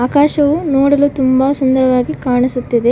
ಆಕಾಶವು ನೋಡಲು ತುಂಬಾ ಸುಂದರವಾಗಿ ಕಾಣಿಸುತ್ತಿದೆ.